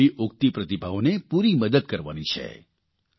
આપણે આવી ઉગતી પ્રતિભાઓને પૂરી મદદ કરવાની છે